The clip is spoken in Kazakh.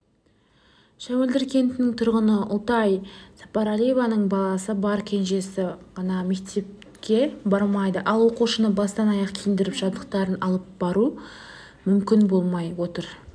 шәуілдір кентінің тұрғыны ұлтай сапарәлиеваның баласы бар кенжесі ғана мектепке бармайды ал оқушыны бастан-аяқ киіндіріп жабдықтарын алып беру мүмкін болмай отыр